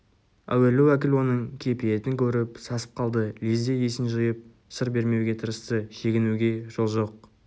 әуелі уәкіл оның кепиетін көріп сасып қалды лезде есін жиып сыр бермеуге тырысты шегінуге жол жоқ